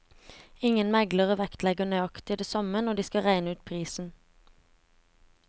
Ingen meglere vektlegger nøyaktig det samme når de skal regne ut prisen.